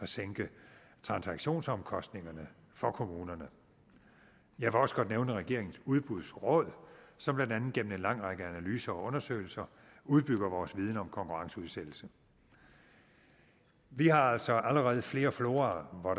sænke transaktionsomkostningerne for kommunerne jeg vil også godt nævne regeringens udbudsråd som blandt andet gennem en lang række analyser og undersøgelser udbygger vores viden om konkurrenceudsættelse vi har altså allerede flere fora hvor